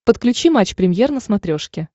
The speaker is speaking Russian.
подключи матч премьер на смотрешке